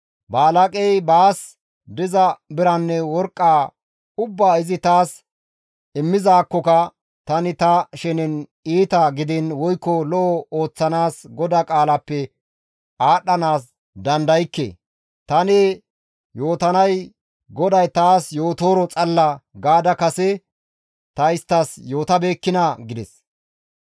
‹Balaaqey baas diza biranne worqqa ubbaa izi taas immizaakkoka tani ta shenen iita gidiin woykko lo7o ooththanaas GODAA qaalappe aadhdhanaas dandaykke; tani yootanay GODAY taas yootooro xalla› gaada kase ta isttas yootabeekkinaa?» gides.